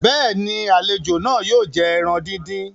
béèni, àlejò náà yóò jẹ ẹran dín dín.